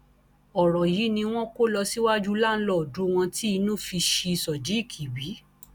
ọrọ yìí ni wọn kó lọ síwájú láńlọọdù wọn tí inú fi ṣí sodiq bí